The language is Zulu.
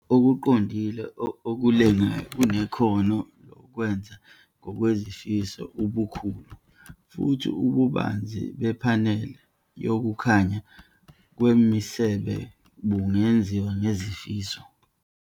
Ukukhanya Okuqondile okulengayo kunekhono lokwenza ngokwezifiso ubukhulu, futhi ububanzi bephaneli yokukhanya kwemisebe bungenziwa ngezifiso.